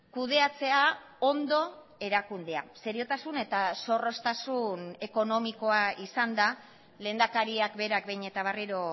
kudeatzea ondo erakundea seriotasun eta zorroztasun ekonomikoa izan da lehendakariak berak behin eta berriro